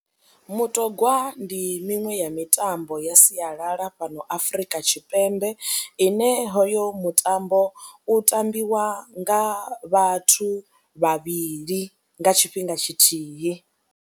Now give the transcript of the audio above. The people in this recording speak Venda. Mutogwa ndi miṅwe ya mitambo ya sialala fhano Afrika Tshipembe ine hoyo mutambo u tambiwa nga vhathu vhavhili nga tshifhinga tshithihi.